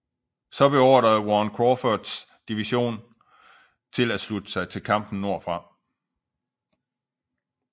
Så beordrede Warren Crawfords division til at slutte sig til kampen nordfra